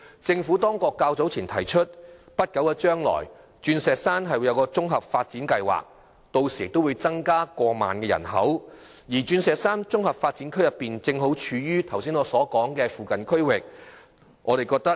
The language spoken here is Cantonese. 政府較早前提出，在不久將來在鑽石山推出綜合發展計劃，屆時人口會增加過萬，而鑽石山綜合發展區正好處於圖書館服務未能覆蓋的區域。